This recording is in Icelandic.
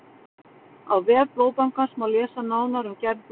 Á vef Blóðbankans má lesa nánar um gerð blóðsins.